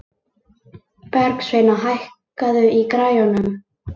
Bergsveina, hækkaðu í græjunum.